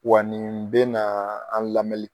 Wa nin bɛ na an lamɛnni